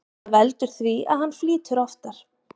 Þetta veldur því að hann flýtur ofar.